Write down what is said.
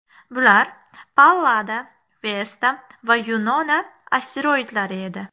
Bular Pallada, Vesta va Yunona asteroidlari edi.